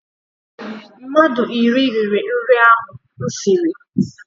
Mmadụ iri riri nri ahụ m siri.